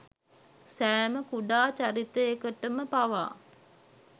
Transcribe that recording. සෑම කුඩා චරිතයකටම පවා